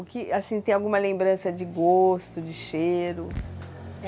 O que, assim, tem alguma lembrança de gosto, de cheiro?